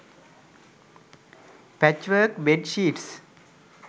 patchwork bed sheets